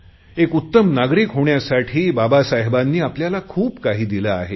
एक उत्तम नागरिक होण्यासाठी बाबासाहेबांनी आपल्याला खूप काही दिले आहे